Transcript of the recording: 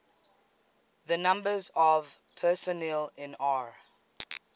the numbers of personnel in r